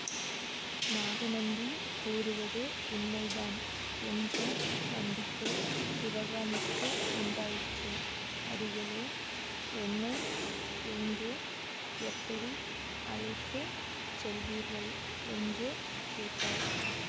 நாகநந்தி கூறுவது உண்மைதான் என்ற நம்பிக்கை சிவகாமிக்கு உண்டாயிற்று அடிகளே என்னை எங்கே எப்படி அழைத்து செல்வீர்கள் என்று கேட்டாள்